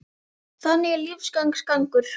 Þannig er lífsins gangur.